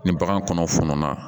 Ni bagan kɔnɔ fununa